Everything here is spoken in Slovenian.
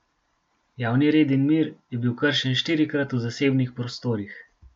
Javni red in mir je bil kršen štirikrat v zasebnih prostorih.